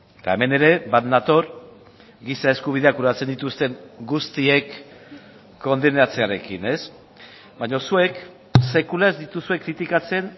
eta hemen ere bat nator giza eskubideak urratzen dituzten guztiek kondenatzearekin ez baina zuek sekula ez dituzue kritikatzen